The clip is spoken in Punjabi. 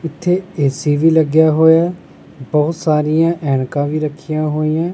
ਇੱਥੇ ਏ_ਸੀ ਵੀ ਲੱਗਿਆ ਹੋਇਆ ਬਹੁਤ ਸਾਰੀਆਂ ਐਣਕਾਂ ਵੀ ਰੱਖੀਆਂ ਹੋਈਆਂ।